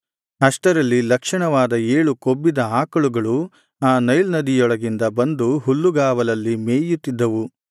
ಅಷ್ಟರಲ್ಲಿ ಲಕ್ಷಣವಾದ ಏಳು ಕೊಬ್ಬಿದ ಆಕಳುಗಳು ಆ ನೈಲ್ ನದಿಯೊಳಗಿಂದ ಬಂದು ಹುಲ್ಲುಗಾವಲಲ್ಲಿ ಮೇಯುತ್ತಿದ್ದವು